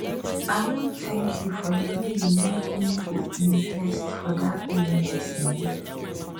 i wan thank you for the way you make me go invest for dat business um